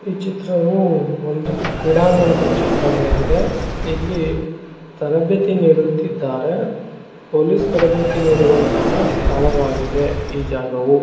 ಈ ಚಿತ್ರವು ಒಂದು ಕ್ರೀಡಾಗಣದ ಚಿತ್ರವಾಗಿದೆ. ಇಲ್ಲಿ ತರಬೇತಿ ನೀಡುತ್ತಿದ್ದಾರೆ. ಪೊಲೀಸ್ ತರಬೇತಿ ನಿಡುವಂತಹ ಸ್ಥಳವಾಗಿದೆ ಈ ಜಾಗವು.